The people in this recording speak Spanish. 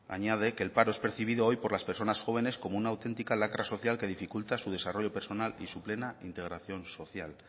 añade que el paro es percibido hoy por las personas jóvenes como una auténtica lacra social que dificulta su desarrollo personal y su plena integración social